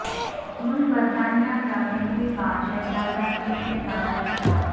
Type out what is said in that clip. ملکہ برطانیہ کا پہلی بار شہزادہ فلپ کے بغیر خطاب